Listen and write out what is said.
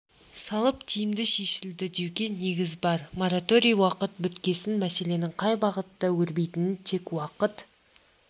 салып тиімді шешілді деуге негіз бар мораторий уақыты біткесін мәселенің қай бағытта өрбитінін тек уақыт